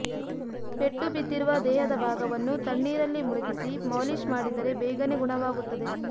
ಪೆಟ್ಟು ಬಿದ್ದಿರುವ ದೇಹದ ಭಾಗವನ್ನು ತಣ್ಣೀರಲ್ಲಿ ಮುಳುಗಿಸಿ ಮಾಲೀಷ್ ಮಾಡಿದರೆ ಬೇಗನೆ ಗುಣವಾಗುತ್ತದೆ